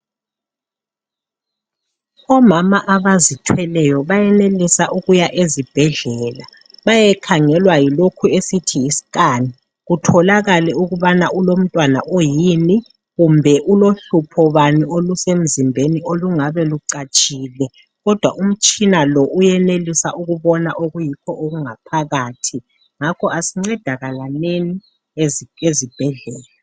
Omama abazithweleyo bayenelisa ukuya ezibhedlela bayekhangelwa yilokhu esithi yiscan kutholakale ukubana ulomntwana oyini kumbe hlupho bani olusemzimbeni olungabe lucatshile kodwa umtshina lo uyenelisa ukubona okuyikho okungaphakathi.